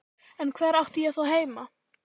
En hvar átti ég þá heima?